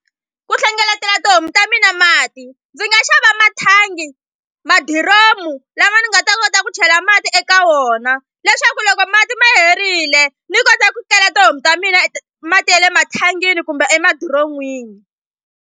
Ku hlengeletela tihomu ta mina mati ndzi nga xava mathangi madiromu lama ni nga ta kota ku chela mati eka wona leswaku loko mati ma herile ni kota ku kela tihomu ta mina mati ye le mathangini kumbe emadiron'wini.